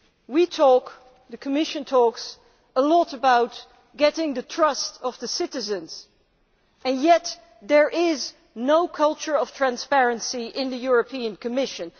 We talk the Commission talks a lot about winning the trust of the citizens, yet there is no culture of transparency in the Commission.